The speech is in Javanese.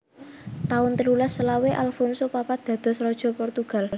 taun telulas selawe Alfonso papat dados Raja Portugal